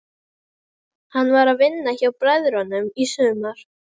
Hann var að vinna hjá bræðrunum í sumar.